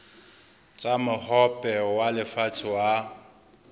tsa mohope wa lefatshe wa